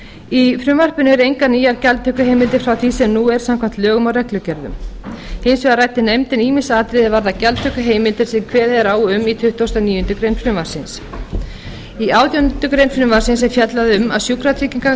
í frumvarpinu eru engar nýjar gjaldtökuheimildir frá því sem nú er samkvæmt lögum og reglugerðum hins vegar ræddi nefndin ýmis atriði er varða gjaldtökuheimildir sem kveðið er á um í tuttugasta og níundu grein frumvarpsins í átjándu grein frumvarpsins er fjallað um að sjúkratryggingar